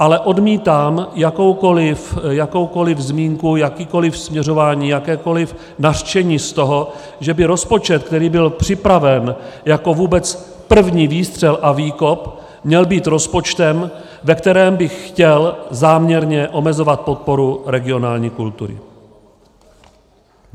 Ale odmítám jakoukoliv zmínku, jakékoli směřování, jakékoli nařčení z toho, že by rozpočet, který byl připraven jako vůbec první výstřel a výkop, měl být rozpočtem, ve kterém bych chtěl záměrně omezovat podporu regionální kultury.